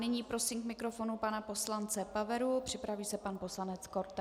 Nyní prosím k mikrofonu pana poslance Paveru, připraví se pan poslanec Korte.